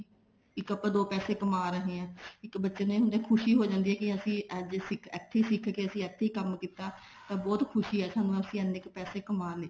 ਇੱਕ ਆਪਾਂ ਦੋ ਪੈਸੇ ਕਮਾ ਰਹੇ ਹਾਂ ਇੱਕ ਬੱਚੇ ਨੂੰ ਖੁਸ਼ੀ ਹੋ ਜਾਂਦੀ ਅਸੀਂ ਅੱਜ ਅਸੀਂ ਇਥੇ ਸਿੱਖ ਕੇ ਅਸੀਂ ਇੱਥੇ ਹੀ ਕੰਮ ਕੀਤਾ ਤਾ ਬਹੁਤ ਖੁਸ਼ੀ ਹੈ ਸਾਨੂੰ ਅਸੀਂ ਇੰਨੇ ਕ ਪੈਸੇ ਕਮਾ ਲੇ